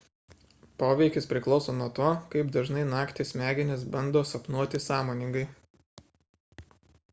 poveikis priklauso nuo to kaip dažnai naktį smegenys bando sapnuoti sąmoningai